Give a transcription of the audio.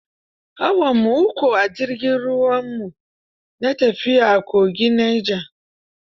Awarmu uku a jirgin ruwa, mu na tafiya a kogin Neja.